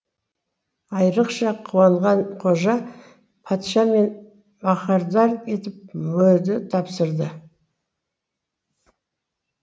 айрықша қуанған қожа патша мені маһардар етіп мөрді тапсырды